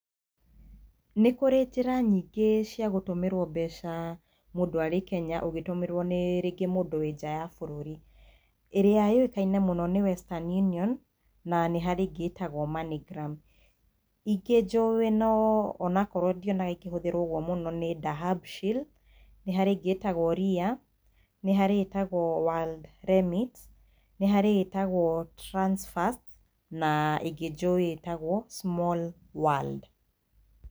Nĩkũrĩ njĩra nyingĩ cia gũtũmĩrwo mbeca mũndũ arĩ Kenya ũgĩtũmĩrwo nĩ rĩngĩ mũndũ wĩ nja ya bũrũri, ĩrĩa yũĩkaine muno nĩ Western Union na ingĩ ĩtagwo Moneygram. Ingĩ njũĩ onakorwo ndionaga ikĩhũthĩrwo ũguo mũno nĩ Dahabshiil, harĩ ĩngĩ ĩtagwo Ria, nĩ harĩ ĩtagwo WorldRemit, nĩ harĩ ĩtagwo Transfast na ĩngĩ njũĩ ĩtagwo SmallWorld.